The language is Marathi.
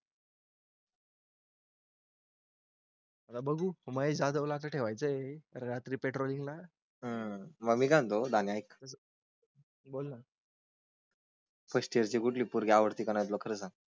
मला बघू महेशला ठेवायचंय. रात्री पेट्रोलिंगला. आह मग मी काय म्हणतो जाणतो दाणे ऐक. बोलना. फर्स्ट इअरची कुठली पोरगी आवडती कि नाही तुला तुला खरं सांग.